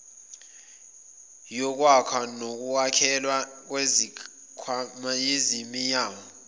yokwakha nokunakekelwa kwezakhiwoziyamenywa